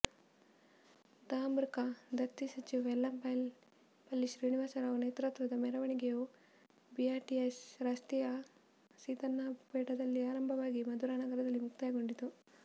ಧಾಮರ್ಿಕ ದತ್ತಿ ಸಚಿವ ವೆಲ್ಲಂಪಲ್ಲಿ ಶ್ರೀನಿವಾಸ್ ರಾವ್ ನೇತೃತ್ವದ ಮೆರವಣಿಗೆಯು ಬಿಆರ್ಟಿಎಸ್ ರಸ್ತೆಯ ಸೀತನ್ನಪೇಟದಲ್ಲಿ ಆರಂಭವಾಗಿ ಮಧುರಾ ನಗರದಲ್ಲಿ ಮುಕ್ತಾಯಗೊಂಡಿತು